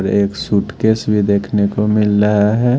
और एक सूटकेस भी देखने को मिल रहा है।